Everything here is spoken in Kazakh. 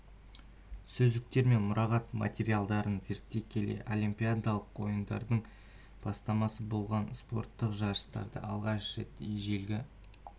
сөздіктер мен мұрағат материалдарын зерттей келе олимпиадалық ойындардың бастамасы болған спорттық жарыстарды алғаш рет ежелгі